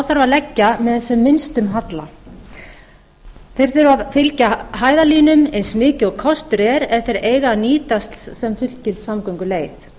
að leggja með sem minnstum halla þær þurfa að fylgja hæðarlínum eins mikið og kostur er ef þær eiga að nýtast sem fullgild samgönguleið